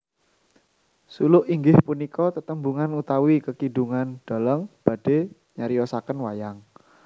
Suluk inggih punika tetembungan utawi kekidungan dhalang badhe nyariosaken wayang